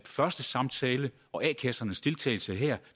første samtale og a kassernes deltagelse her